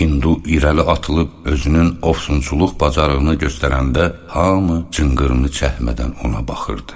Hindu irəli atılıb özünün ovsunçuluq bacarığını göstərəndə hamı cınqırını çəkmədən ona baxırdı.